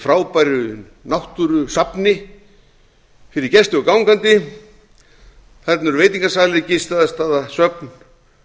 frábæru náttúrusafni fyrir gesti og gangandi þarna eru veitingasalir gistiaðstaða söfn